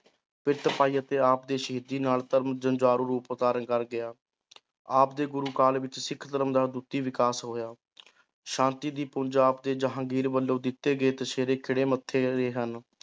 ਪਾਈ ਅਤੇ ਆਪ ਦੀ ਸ਼ਹੀਦੀ ਨਾਲ ਧਰਮ ਜੁਝਾਰੂ ਰੂਪ ਧਾਰਨ ਕਰ ਗਿਆ ਆਪ ਦੇ ਗੁਰੂ ਕਾਲ ਵਿੱਚ ਸਿੱਖ ਧਰਮ ਦਾ ਅਦੁੱਤੀ ਵਿਕਾਸ ਹੋਇਆ ਸ਼ਾਂਤੀ ਦੇ ਪੁੰਜ, ਆਪ ਦੇ ਜਹਾਂਗੀਰ ਵੱਲੋਂ ਦਿੱਤੇ ਗਏ ਤਸੀਹੇ ਖਿੜੇ ਮੱਥੇ ਹਨ।